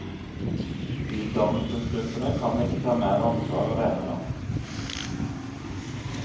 Utdannelsesgruppene kan ikke ta mer ansvar alene nå.